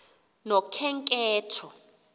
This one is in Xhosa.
nokhenketho